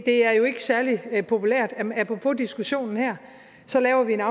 er jo ikke særlig populært apropos diskussionen her så laver vi en